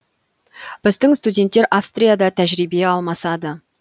біздің студенттер австрияда тәжірибе алмасады